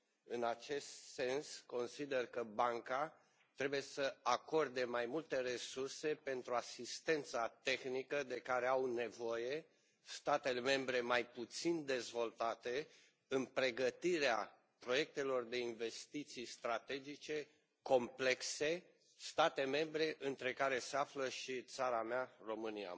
În acest sens, consider că Banca trebuie să acorde mai multe resurse pentru asistența tehnică de care au nevoie statele membre mai puțin dezvoltate în pregătirea proiectelor de investiții strategice complexe, state membre printre care se află și țara mea, România.